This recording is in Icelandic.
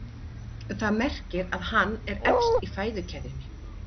Það merkir að hann er efst í fæðukeðjunni.